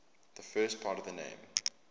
the first part of the name